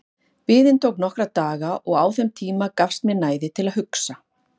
Biðin tók nokkra daga og á þeim tíma gafst mér næði til að hugsa.